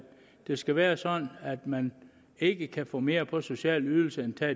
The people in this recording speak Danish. det skal være sådan at man ikke kan få mere på social ydelse end ved